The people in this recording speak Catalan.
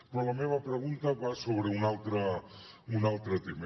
però la meva pregunta va sobre un altre tema